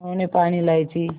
उन्होंने पान इलायची